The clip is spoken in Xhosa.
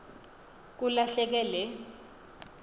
kula hleke le